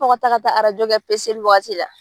tɔ ka taa kɛ waati la.